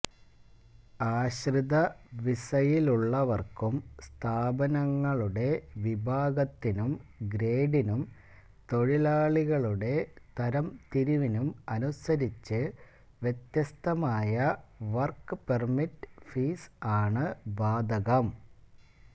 ആശ്രിത വിസയിലുള്ളവർക്കും സ്ഥാപനങ്ങളുടെ വിഭാഗത്തിനും ഗ്രേഡിനും തൊഴിലാളികളുടെ തരംതിരിവിനും അനുസരിച്ച് വ്യത്യസ്തമായ വർക്ക് പെർമിറ്റ് ഫീസ് ആണ് ബാധകം